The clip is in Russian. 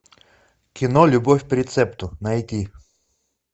кино любовь по рецепту найти